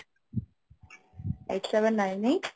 eight seven nine eight